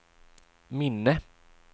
minne